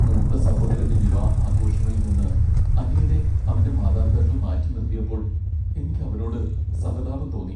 മൂത്ത സഹോദരന്റെ വിവാഹ ആഘോഷങ്ങളിൽ നിന്ന് അനിയനെ അവന്റെ മാതാപിതാക്കൾ മാറ്റിനിർത്തിയപ്പോൾ എനിക്ക് അവനോട് സഹതാപം തോന്നി .